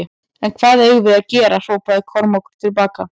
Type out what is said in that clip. En hvað eigum við að gera hrópaði Kormákur til baka.